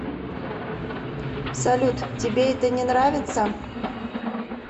салют тебе это не нравится